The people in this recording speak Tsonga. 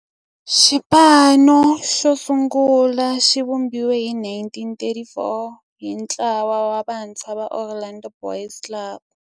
Xipano xosungula xivumbiwile hi 1934 hi ntlawa wa vantshwa va Orlando Boys Club.